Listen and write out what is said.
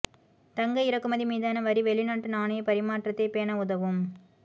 தங்க இறக்குமதி மீதான வரி வெளிநாட்டு நாணய பரிமாற்றத்தை பேண உதவும்